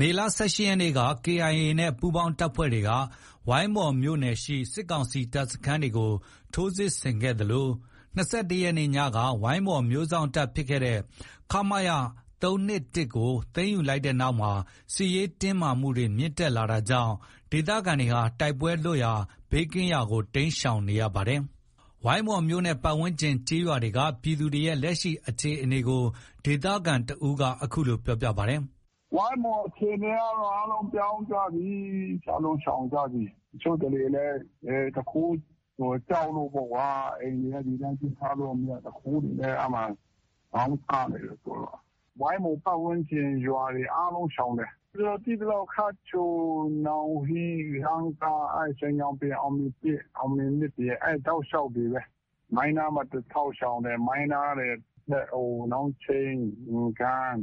မေလ ၁၈ရက်နေ့မှာ KIA နဲ့ ပူးပေါင်းတပ်တွေက ဝိုင်းမော်မြို့နယ်ရှိ စစ်ကောင်စီတပ်စခန်းတွေကို ထိုးစစ်ဆင်ခဲ့သလို ၂၁ရက်နေ့ညက ဝိုင်းမော်မြို့စောင့်တပ်ဖြစ်တဲ့ ခမရ ၃၂၁ကို သိမ်းယူလိုက်တဲ့နောက်မှာ စစ်ရေးတင်းမာမှုတွေ မြင့်တက်လာတာကြောင့် ဒေသခံတွေဟာ တိုက်ပွဲလွတ်ကင်းရာဒေသတွေကို တိမ်းရှောင်နေတာပါ။ ဝိုင်းမော်မြို့နဲ့ ပတ်ဝန်းကျင်ကျေးရွာတွေက ပြည်သူတွေရဲ့လက်ရှိ အခြေအနေကို ဒေသခံတဦးက အခုလို ပြောပါတယ်။ ဝိုင်းမော်အခြေအနေကတော့ အားလုံးပြောင်းကြပြီ။ အားလုံးရှောင်ကြပြီ။ တချို့တတွေလည်း သူခိုးကြောက်လို့ပေါ့။ အိမ်တွေက ဒီတိုင်း ပြစ်ထားလို့ မရ သူခိုးတွေနဲ့ ခေါင်းစားနေတယ်။ ဝိုင်းမော်ပတ်ဝန်းကျင်ရွာတွေ အားလုံးရှောင်တယ်။ ကျနော်သိသလောက် ခတ်ချို၊ နောင်ဟီး၊ စန်းကား၊ ရွှေညောင်ပင်၊ အောင်မြေ၁၊ အောင်မြေ၂ အဲဒီ တောက်လျှောက်တွေပဲ။ မိုင်းနားမှာ တထောက်ရှောင်တယ်။ မိုင်းနားကနေ နောင်ချိန်း၊ အင်ဂန်း၊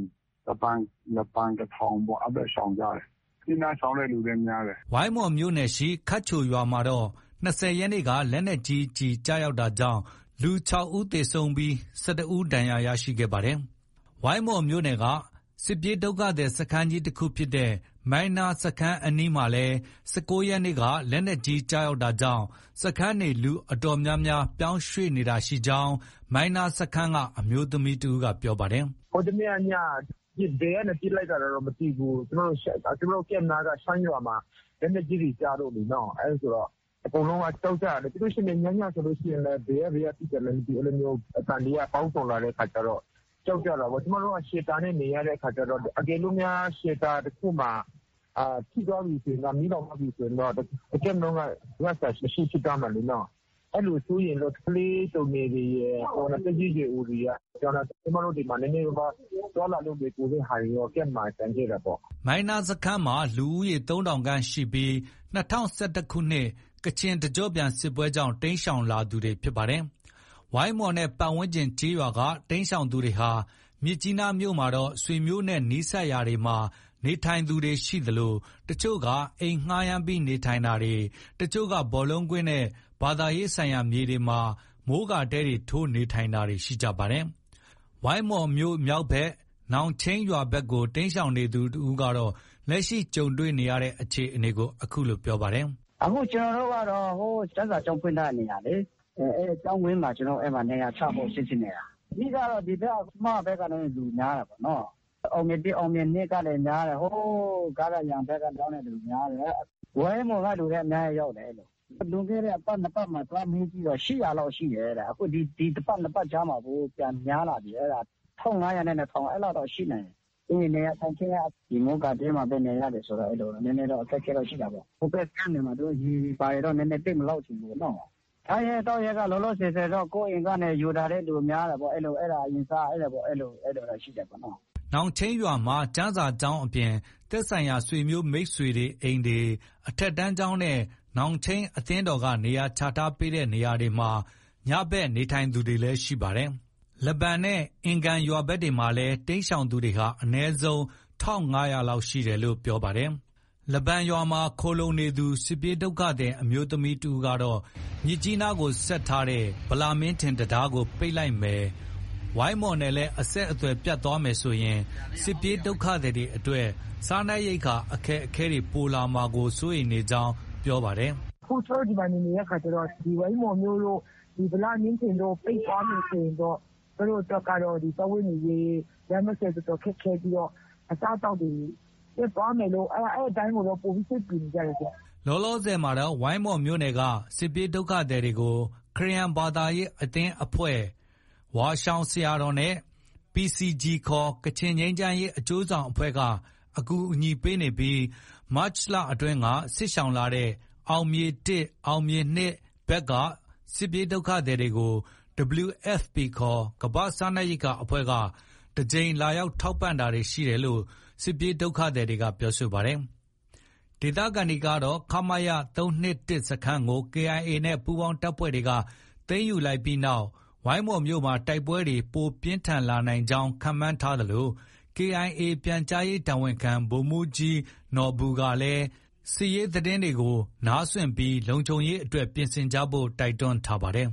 လဘန်ကထောင်ပေါ့။ အဲဒီဘက် ရှောင်ကြတယ်။မြစ်ကြီးနား ရှောင်တဲ့သူလည်းများတယ်။ ဝိုင်းမော်မြို့နယ်၊ ခတ်ချိုရွာမှာတော့ ၂၀ရက်နေ့က လက်နက်ကြီးကျည်ကျတာကြောင့် လူ၆ယောက်သေဆုံးပြီး ၁၁ယောက် ဒဏ်ရာရခဲ့ပါတယ်။ ဝိုင်းမော်မြို့နယ်က စစ်ရှောင်စခန်းကြီးတခုဖြစ်တဲ့ မိုင်းနားစခန်းအနီးမှာလည်း ၁၉ရက်နေ့ ညက လက်နက်ကြီးကျတာကြောင့် စခန်းနေလူအတော်များများဟာ ပြောင်းရွှေ့တာတွေရှိနေကြောင်း မိုင်းနားစခန်းက အမျိုးသမီးတဦးက ပြောပါတယ်။ ဟိုတနေ့ညက ဘယ်ကနေ ပစ်လိုက်တာလဲတော့ မသိဘူး။ ကျမတို့ Camp နားက ရှမ်းရွာမှာ လက်နက်ကြီး တွေ ကျလို့လေနော။ အဲလိုဆိုတော့ အကုန်လုံးက ကြောက်ကြတာလေ။ပြီးရင် ည ညဆိုရင်လည်း ဘယ်က ဘယ်ကပစ်တာလဲ မသိဘူး။ အဲလိုမျိုး အသံတွေက ပေါင်းစုံလာတဲ့အခါကျတော့ ကြောက်ကြတာပေါ့။ ကျမတို့က Shelter နဲ့ နေရတဲ့အခါကျတော့ တကယ်လို့များ Shelter တခုမှာ ထိသွားပြီ မီးလောင်သွားပြီဆိုရင်တော့ တ Camp လုံးက ရစရာမရှိဖြစ်သွားမှာလေ နော။ အဲလို စိုးရိမ်လို့ ကလေးသူငယ်တွေရယ်၊ သက်ကြီးရွယ်အိုတွေက ပြောင်းတာ။ ကျမတို့ ဒီမှာ နည်းနည်းပါးပါး သွားလာလို့ လွယ်ကူတဲ့ဟာတွေတော့ Camp မှာ ကျန်ခဲ့တာပေါ့။ မိုင်းနားစခန်းမှာ လူဦးရေ ၃၀၀၀ ခန့်ရှိပြီး ၂၀၁၁ခုနှစ် ကချင်တကျော့ပြန်စစ်ပွဲကြောင့် တိမ်းရှောင်လာသူတွေ ဖြစ်ပါတယ်။ ဝိုင်းမော်နဲ့ ပတ်ဝန်းကျင်ကျေးရွာက တိမ်းရှောင်သူတွေဟာ မြစ်ကြီးနားမြို့မှာတော့ ဆွေမျိုးနဲ့ နီးစပ်ရာတွေမှာ နေထိုင်သူရှိသလို တချို့တွေက အိမ်ငှားရမ်းနေထိုင်ပြီး တချို့က ဘောလုံးကွင်းနဲ့ ဘာသာရေးဆိုင်ရာမြေတွေမှာ မိုးကာတဲထိုးနေထိုင်နေကြပါတယ်။ ဝိုင်းမော်မြို့မြောက်ဘက် နောင်ချိန်းရွာဘက်ကို တိမ်းရှောင်နေသူတဦးကတော့ လက်ရှိ ကြုံတွေရတဲ့ အခြေအနေကို အခုလို ပြောပါတယ်။ အခု ကျနော်တို့ကတော့ ကျမ်းစာကျောင်းဖွင့်တဲ့နေရာလေ။ အဲဒီကျောင်းဝန်းမှာ နေရာချဖို့ စီစဉ်နေတာ။ အဓိကကတော့ ဆမားဘက်က လူများတာပေါ့။ အောင်မြေ ၁၊ အောင်မြေ ၂ လူများတယ်။ ဟိုး ဂါဒါယန်ဘက်ကနေ ပြောင်းတဲ့သူများတယ်။ ဝိုင်းမော်ကလူလည်း အများကြီးရောက်တယ်။ လွန်ခဲ့တဲ့တပတ်၊ နှစ်ပတ်မှာ သွားမေးတော့ ၈၀၀ လောက်ရှိတယ်တဲ့။အခု ဒီတပတ်၊နှစ်ပတ်ကြားမှာ ပြန်များလာပြီ။ အခု ၁၅၀၀နဲ့ ၂၀၀၀ အဲလောက်တော့ ရှိနိုင်တယ်။ နေရာထိုင်ခင်းက မိုးကာတဲမှာပဲ နေရတယ်ဆိုတော့ နည်းနည်းတော့ အခက်အခဲရှိတာပေါ့။ ဟိုဘက် Camp တွေမှာတော့ ရေတွေဘာတွေ သိပ်မလောက်ချင်ဘူးပေါ့နော။ စားရေးသောက်ရေးက လောလောဆည်ဆည်တော့ ကိုယ့်အိမ်က ယူလာတဲ့သူများတာပေါ့။ အဲဒါ အရင်စား အဲလိုတော့ ရှိတာပေါ့။ နောင်ချိန်းရွာမှာကျမ်းစာကျောင်းအပြင် သက်ဆိုင်ရာဆွေမျိုးမိတ်ဆွေအိမ်တွေ၊ အထက်တန်းကျောင်းနဲ့ နောင်ချိန်းအသင်းတော်က နေရာချထားတဲ့နေရာတွေမှည နေထိုင်နေသူတွေလည်း ရှိပါတယ်။ လဘန်နဲ့ အင်ဂန်ရွာဘက်တွေမှာ တိမ်းရှောင်နေသူတွေဟာလည်း အနည်းဆုံး ၁၅၀၀ လောက် ရှိနိုင်ကြောင်း ပြောပါတယ်။ လဘန်ရွာမှာ စစ်ရှောင်နေသူ အမျိုးသမီးတဦးကတော့ မြစ်ကြီးနားကို ဆက်သွယ်ထားတဲ့ ဗလမင်းထင် တံတားပိတ်လိုက်မယ်၊ ဝိုင်းမော်နဲ့လည်း အဆက်အသွယ်ပြတ်သွားမယ်ဆိုရင် စစ်ရှောင်တွေအတွက် စားနပ်ရိက္ခာအခက်အခဲတွေလာမှာကို စိုးရိမ်နေကြောင်းလည်း ပြောပါတယ်။ ကျမတို့ အခုဒီမှာ နေနေတဲ့အခါကျတော့ ဒီဝိုင်းမော်မြို့တို့၊ ဗလမင်းထင်တံတားတို့ ပိတ်သွားမယ်ဆိုရင်တော့ ကျမတို့အတွက်ကတော့ စားဝတ်နေရေး၊ လမ်းပန်းဆက်သွယ်ရေး တော်တော်ခက်ခဲပြီးတော့ အစားအသောက်တွေ ပြတ်သွားမယ်လို့ အဲဒီအပိုင်းကို ပိုပြီး စိတ်ပူနေကြတယ်ရှင့်။ လောလောဆည်မှာတော့ ဝိုင်းမော်မြို့နယ်က စစ်ရှောင်တွေကို ခရစ်ယာန်ဘာသာရေးအသင်းအဖွဲ့၊ ဝါးရှောင်ဆရာတော်နဲ့ PCG ခေါ် ကချင်ငြိမ်းချမ်းရေးအကျိုးဆောင်အဖွဲ့က ကူညီပေးနေပြီး မတ်လအတွင်းက စစ်ရှောင်လာတဲ့ အောင်မြေ ၁၊ အောင်မြေ ၂ဘက်က စစ်ရှောင်တွေကို WFP ခေါ် ကမ္ဘာ့စားနပ်ရိက္ခာအဖွဲ့က တကြိမ်လာရောက်ထောက်ပံ့တာတွေ ရှိကြောင်း စစ်ရှောင်တွေက ပြောပါတယ်။ ဒေသခံတွေကတော့ ခမရ ၃၂၁ စခန်းကို KIA နဲ့ ပူးပေါင်းတပ်တွေက သိမ်းယူလိုက်ပြီးနောက် ဝိုင်းမော်မြို့မှာ တိုက်ပွဲတွေ ပိုပြင်းထန်လာနိုင်ကြောင်း ခန့်မှန်းထားသလို KIA ပြန်ကြားရေးတာဝန်ခံ ဗိုလ်မှုးကြီးနော်ဘူက လည်း စစ်ရေးသတင်းကို နားစွင့်ထားပြီး လုံခြုံရေးအတွက် ပြင်ဆင်ထားကြဖို့ တိုက်တွန်းထားပါတယ်။